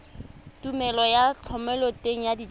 tumelelo ya thomeloteng ya dijalo